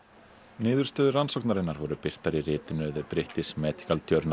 niðurstöður rannsóknarinnar voru birtar í ritinu British medical